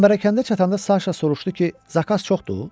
Çəmbərəkəndə çatanda Saşa soruşdu ki, zakaz çoxdur?